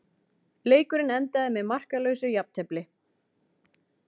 Leikurinn endaði með markalausu jafntefli